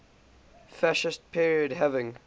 fascist period having